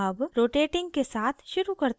अब rotating के साथ शुरू करते हैं